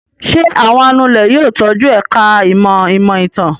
Ṣé àwọn anulẹ̀ yóò tọ́jú ẹ̀ka-ìmọ̀ ìmọ̀-ìtàn?